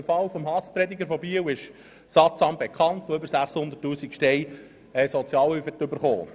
Der Fall des Hasspredigers von Biel, der über 600 000 Franken Sozialhilfe erhalten hat, ist sattsam bekannt.